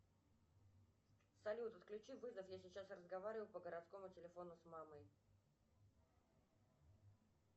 салют отключи вызов я сейчас разговариваю по городскому телефону с мамой